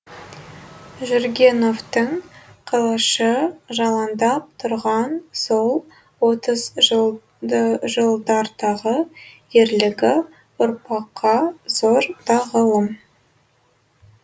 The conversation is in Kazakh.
жүргеновтің қылышы жалаңдап тұрған сол отызы жылдардағы ерлігі ұрпаққа зор тағылым